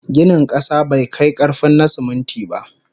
Ginin kasa bai kai karfin na siminti ba